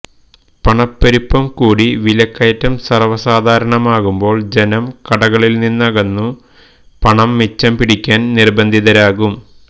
പണപ്പെരുപ്പം കൂടി വിലക്കയറ്റം സർവ്വസാധാരണമാകുമ്പോൾ ജനം കടകളിൽ നിന്നകന്നു പണം മിച്ചം പിടിക്കാൻ നിർബന്ധിതരാകും